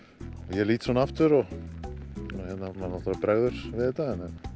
ég lít svona aftur manni bregður við þetta